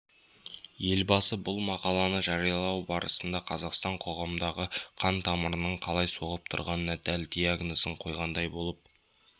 елбасы бұл мақаланы жариялау барысында қазақстан қоғамындағы қан тамырының қалай соғып тұрғанына дәл диагнозын қойғандай болып